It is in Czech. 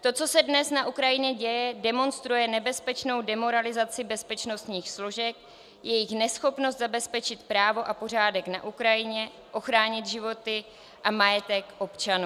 To, co se dnes na Ukrajině děje, demonstruje nebezpečnou demoralizaci bezpečnostních složek, jejich neschopnost zabezpečit právo a pořádek na Ukrajině, ochránit životy a majetek občanů.